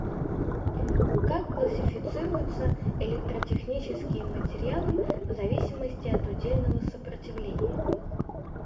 как классифицируются электротехнические материалы в зависимости от удельного сопротивления